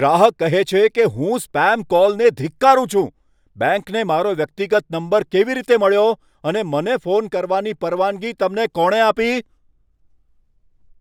ગ્રાહક કહે છે કે, હું સ્પામ કોલને ધિક્કારું છું. બેંકને મારો વ્યક્તિગત નંબર કેવી રીતે મળ્યો અને મને ફોન કરવાની પરવાનગી તમને કોણે આપી?